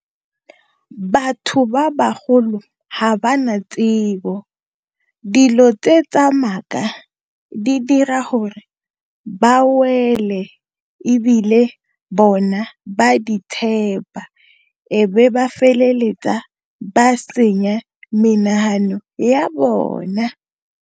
Batho ba bagolo ga ba na tsebo dilo tse tsa maaka di dira gore ba wele ebile bona ba ditshepa ebe ba feleletsa ba senya menagano ya bona.